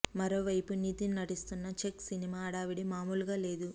మరో వైపు నితిన్ నటిస్తున్న చెక్ సినిమా హడావుడి మామూలుగా లేదు